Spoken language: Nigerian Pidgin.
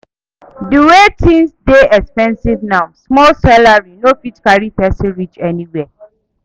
Di way tins dey expensive now, small salary no fit carry pesin reach anywhere.